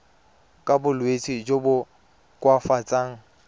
ka bolwetsi jo bo koafatsang